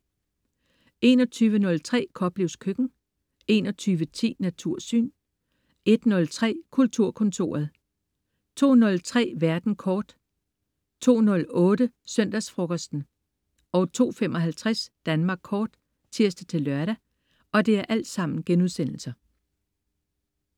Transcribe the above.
21.03 Koplevs Køkken* 21.10 Natursyn* 01.03 Kulturkontoret* 02.03 Verden kort* 02.08 Søndagsfrokosten* 02.55 Danmark kort* (tirs-lør)